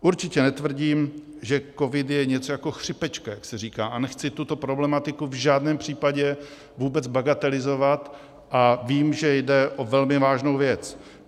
Určitě netvrdím, že covid je něco jako chřipečka, jak se říká, a nechci tuto problematiku v žádném případě vůbec bagatelizovat a vím, že jde o velmi vážnou věc.